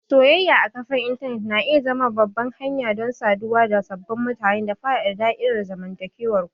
Soyayya a kafar intanet na iya zama babbar hanya don saduwa da sababbin mutane da faɗaɗa da'irar zamantakewar ku.